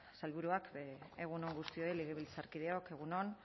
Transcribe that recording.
sailburuak egun on guztioi legebiltzarkideok egun on